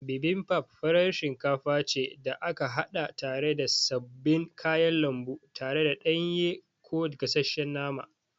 Bibimbap farar shinkafa ce da aka haɗa tare da sabbin kayan lambu tare da ɗanye ko gashesshen nama.